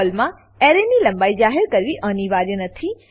પર્લમાં અરે એરે ની લંબાઈ જાહેર કરવી અનિવાર્ય નથી